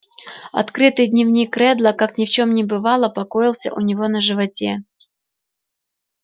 открытый дневник реддла как ни в чём не бывало покоился у него на животе